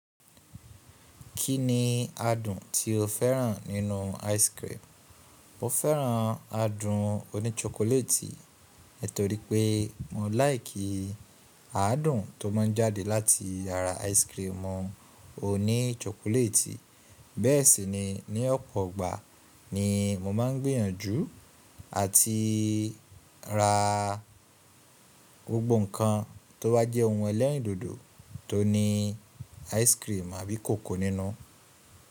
Kí ni adùn tí o fẹ́ràn nínú ice cream? Mo fẹ́ràn adùn oní chokoleti, torípé mo láìkì adùn tó má ń jáde láti àrá ice cream ọ oní chokoleti. Bẹ́ẹ̀ sì ni ní ọ̀pọ̀ ọgbà ni mo má ń gbìyànjú àti ra gbogbo nǹkan tó bá jẹ́ ohun ẹlẹ́rìndòdò tó ní ice cream àbí cocoa nínú.